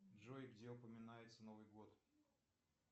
джой где упоминается новый год